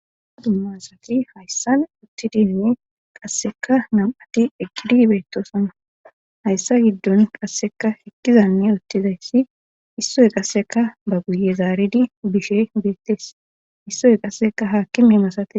dumma asati hayssan uttidinne qasseka nam7ati eqqidi beettosana hayssa giddon qasseka ekkizanne uttizayssi issoy qasseka ba guye zaaridi bishe beettes issoy qasseka haakime masates